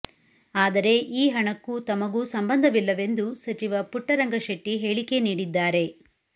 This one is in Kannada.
ಆದರೆ ಈ ಹಣಕ್ಕೂ ತಮಗೂ ಸಂಬಂಧವಿಲ್ಲವೆಂದು ಸಚಿವ ಪುಟ್ಟರಂಗ ಶೆಟ್ಟಿ ಹೇಳಿಕೆ ನೀಡಿದ್ದಾರೆ